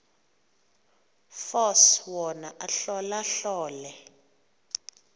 force wona ahlolahlole